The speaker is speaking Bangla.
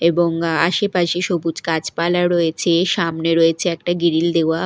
এবং আশেপাশে সবুজ গাছপালা রয়েছে সামনে রয়েছে একটা গিরিল দেওয়া।